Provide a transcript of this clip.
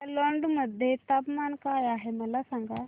नागालँड मध्ये तापमान काय आहे मला सांगा